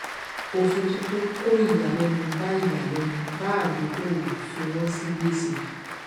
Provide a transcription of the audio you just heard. òfin tuntun kó ìyàlénu bá ìyàlénu bá adókòwò fi wón sí gbèsè